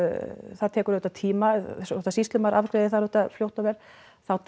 það tekur auðvitað tíma þótt að sýslumaður afgreiði það auðvitað fljótt og vel þá